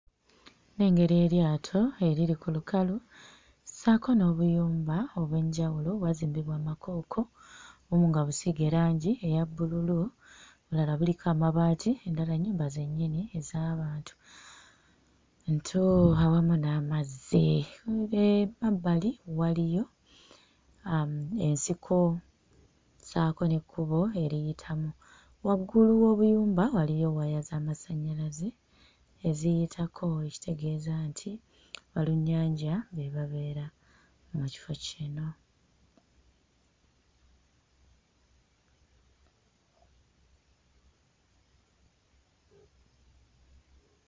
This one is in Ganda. Nnengera eryato eriri ku lukalu ssaako n'obuyumba obw'enjawulo obwazimbibwa mu makooko, obumu nga busiige langi eya bbululu obulala buliko amabaati endala nnyumba zennyini ez'abantu. Ntu awamu n'amazzi mm eh mmabbali waliyo uh ensiko ssaako n'ekkubo eriyitamu. Waggulu w'obuyumba waliyo waya z'amasannyalaze eziyitako ekitegeeza nti balunnyanja be babeera mu kifo kino.